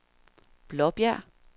Blåbjerg